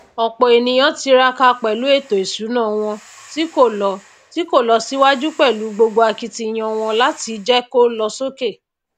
òpò ènìyàn tiraka pèlú ètò ìsúná wọn tí kò lo tí kò lo síwájú pèlú gbogbo akitiyan wọn làti jé kó lo sókè